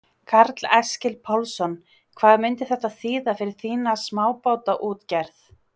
Karl Eskil Pálsson: Hvað myndi þetta þýða fyrir þína smábátaútgerð?